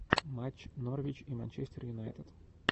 матч норвич и манчестер юнайтед